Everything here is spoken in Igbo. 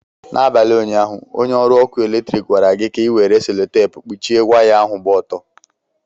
N'abalị ụnyaahụ, onye ọrụ ọkụ eletrik gwara gị ka ị were selutepu kpuchie waya ahụ gba ọtọ.